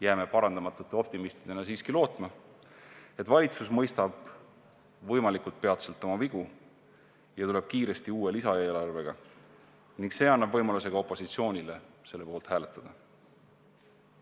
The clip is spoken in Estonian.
Jääme parandamatute optimistidena siiski lootma, et valitsus mõistab võimalikult peatselt oma vigu ja tuleb kiiresti välja uue lisaeelarvega ning see annab võimaluse ka opositsioonile selle poolt hääletada.